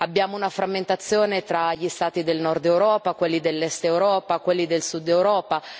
Abbiamo una frammentazione tra gli Stati del Nord Europa, quelli dell'Est Europa, quelli del Sud Europa.